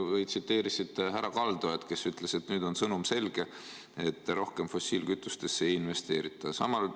Sa tsiteerisid härra Kaldojat, kes ütles, et nüüd on sõnum selge: rohkem fossiilkütustesse ei investeerita.